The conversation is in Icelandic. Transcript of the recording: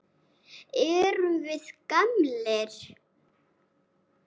Erum við gamlir?